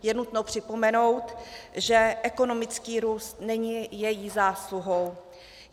Je nutno připomenout, že ekonomický růst není její zásluhou.